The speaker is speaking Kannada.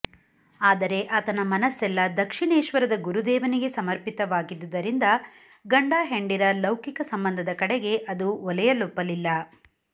ಆದರೆ ಆತನ ಮನಸ್ಸೆಲ್ಲ ದಕ್ಷಿಣೇಶ್ವರದ ಗುರುದೇವನಿಗೆ ಸಮರ್ಪಿತವಾಗಿದ್ದುದರಿಂದ ಗಂಡ ಹೆಂಡಿರ ಲೌಕಿಕ ಸಂಬಂಧದ ಕಡೆಗೆ ಅದು ಒಲೆಯಲೊಪ್ಪಲಿಲ್ಲ